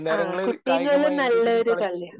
ആ. കുട്ടിം കലോം നല്ലൊരു കളിയാ